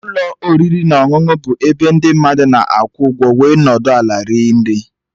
Ụlọ oriri na ọṅụṅụ bụ ebe ndị mmadụ na-akwụ ụgwọ wee nọdụ ala rie nri